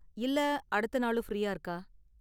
இல்ல அடுத்த நாளும் ஃபிரீயா இருக்கா?